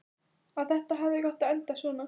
Að þetta hafi ekki átt að enda svona.